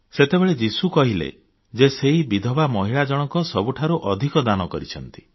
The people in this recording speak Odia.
ସେତେବେଳେ ଯୀଶୁ କହିଲେ ଯେ ସେହି ବିଧବା ମହିଳା ଜଣକ ସବୁଠାରୁ ଅଧିକ ଦାନ କରିଛନ୍ତି